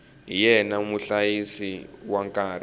hi yena muhlayisi wa nkarhi